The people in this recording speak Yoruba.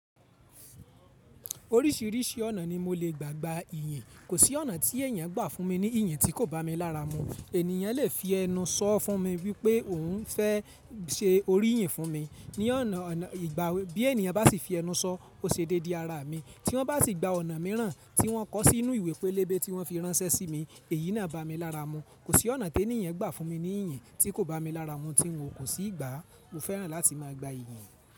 Oríṣìíríṣìí ọ̀nà ni mo lè gbà gba ìyìn. Kò sí ọ̀nà tí èèyàn gbà fún mi ní ìyìn tí kò bá mi lára mu. Ènìyàn lè fi ẹnu sọ fún mi wípé òun fẹ́ se oríyìn fún mi ni ona--ona igba Bí ènìyàn bá sì fi ẹnu sọ, ó ṣe dédé ara mi. Tí wọ́n bá sì gba ọ̀nà mìíràn tí wọ́n kọ sínú ìwé pélébé tí wọ́n fi ránṣẹ́ sí mi, èyí náà bá mi lára mu. Kò sí ọ̀nà tí èniyàn gbà fún mi ní ìyìn tí kò bá mi lára mu tí n ò kò sì gba. Mo fẹ́ràn láti má a gba ìyìn.